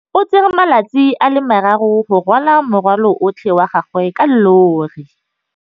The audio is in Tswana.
O tsere malatsi a le marraro go rwala morwalo otlhe wa gagwe ka llori.